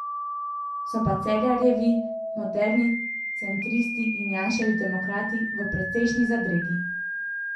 So pa Cerarjevi moderni centristi in Janševi demokrati v precejšnji zadregi.